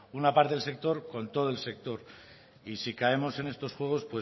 una parte del sector con todo el sector y si caemos en estos juegos